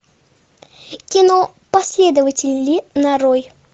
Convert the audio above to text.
кино последователи нарой